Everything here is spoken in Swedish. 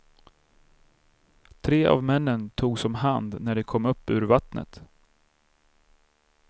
Tre av männen togs om hand när de kom upp ur vattnet.